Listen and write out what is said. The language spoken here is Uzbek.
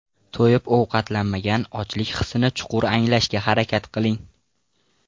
To‘yib ovqatlanmang Ochlik hissini chuqur anglashga harakat qiling.